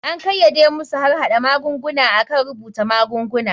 An kayyade masu harhada magunguna akan rubuta magunguna.